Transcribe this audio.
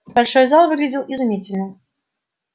большой зал выглядел изумительно